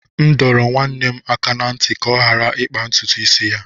M dọrọ nwanne m aka ná ntị ka ọ ghara ịkpa ntutu isi ya